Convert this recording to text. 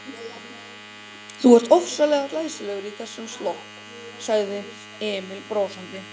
Þú ert ofsalega glæsilegur í þessum slopp, sagði Emil brosandi.